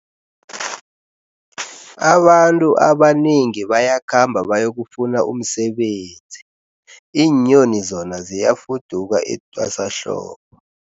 Abantu abanengi bayakhamba bayokufuna umsebenzi, iinyoni zona ziyafuduka etwasahlobo.